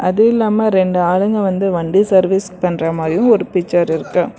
அது இல்லாம ரெண்டு ஆளுங்க வந்து வண்டி சர்வீஸ் பண்ற மாதிரியு ஒரு பிக்சர் இருக்கு.